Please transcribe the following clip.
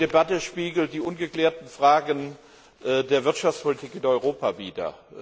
Die Debatte spiegelt die ungeklärten Fragen der Wirtschaftspolitik in Europa wider.